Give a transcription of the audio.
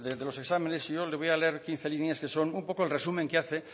de los exámenes yo le voy a leer quince líneas que son un poco el resumen que hace